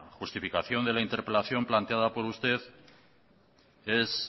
justificación de la interpelación planteada por usted es